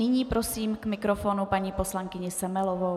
Nyní prosím k mikrofonu paní poslankyni Semelovou.